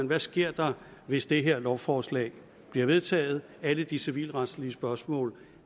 der sker hvis det her lovforslag bliver vedtaget alle de civilretlige spørgsmål